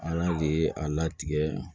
Ala le ye a latigɛ